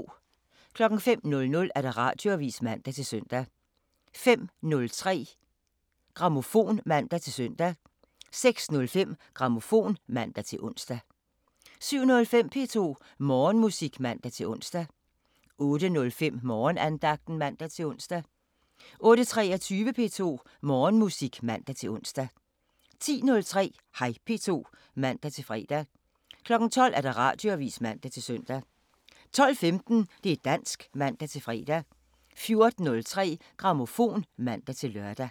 05:00: Radioavisen (man-søn) 05:03: Grammofon (man-søn) 06:05: Grammofon (man-ons) 07:05: P2 Morgenmusik (man-ons) 08:05: Morgenandagten (man-ons) 08:23: P2 Morgenmusik (man-ons) 10:03: Hej P2 (man-fre) 12:00: Radioavisen (man-søn) 12:15: Det' dansk (man-fre) 14:03: Grammofon (man-lør)